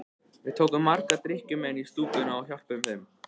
Við tókum marga drykkjumenn í stúkuna og hjálpuðum þeim.